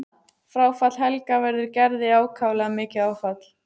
Fráfall Helga verður Gerði ákaflega mikið áfall.